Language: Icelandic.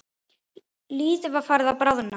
Lítið var farið að bráðna.